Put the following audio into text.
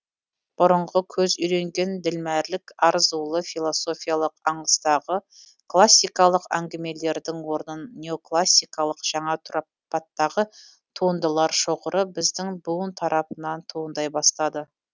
бұрынғы көз үйренген ділмәрлік арзулы философиялық аңыстағы классикалық әңгімелердің орнын неоклассикалық жаңа тұрпаттағы туындылар шоғыры біздің буын тарапынан туындай бастады